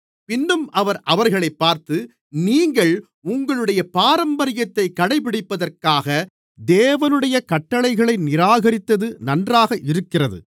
பின்னும் அவர் அவர்களைப் பார்த்து நீங்கள் உங்களுடைய பாரம்பரியத்தைக் கடைபிடிப்பதற்காக தேவனுடைய கட்டளைகளை நிராகரித்தது நன்றாக இருக்கிறது